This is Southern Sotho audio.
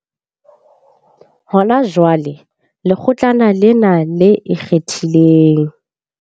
Hona jwale, Lekgotlana lena le Ikgethileng.